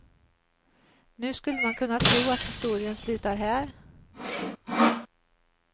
Nu skulle man kunna tro att historien slutar här.